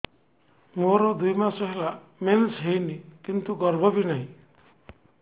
ମୋର ଦୁଇ ମାସ ହେଲା ମେନ୍ସ ହେଇନି କିନ୍ତୁ ଗର୍ଭ ବି ନାହିଁ